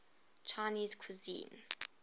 chinese cuisine